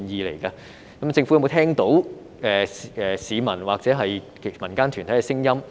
政府有沒有聽到市民或民間團體的聲音？